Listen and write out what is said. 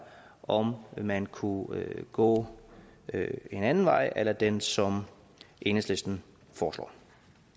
om man kunne gå en anden vej a la den som enhedslisten foreslår